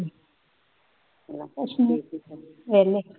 ਕੁੱਛ ਨਹੀਂ ਵਿਹਲੇ